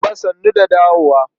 Baba sannu da dawowa.